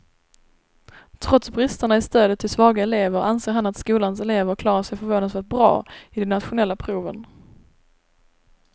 Trots bristerna i stödet till svaga elever anser han att skolans elever klarar sig förvånansvärt bra i de nationella proven.